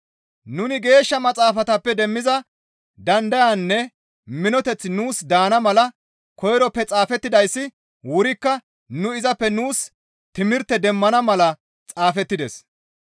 Nuni Geeshsha Maxaafatappe demmiza dandayaynne minoteththi nuus daana mala koyroppe xaafettidayssi wurikka nu izappe nuus timirte demmana mala xaafettides.